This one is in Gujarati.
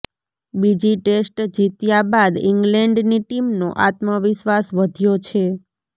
બીજી ટેસ્ટ જીત્યા બાદ ઇંગ્લેન્ડની ટીમનો આત્મવિશ્વાસ વધ્યો છે